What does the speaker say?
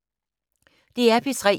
DR P3